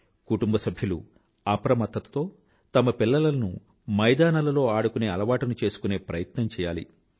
కుటుంబసభ్యులు అప్రమత్తతతో తమ పిల్లలను మైదానాలలో ఆడుకునే అలవాటుని చేసుకునే ప్రయత్నం చెయ్యాలి